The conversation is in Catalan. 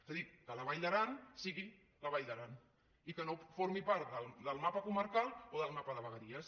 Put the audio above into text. és a dir que la vall d’aran sigui la vall d’aran i que no formi part del mapa comarcal o del mapa de vegueries